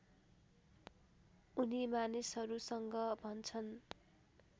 उनी मानिसहरूसँग भन्छन्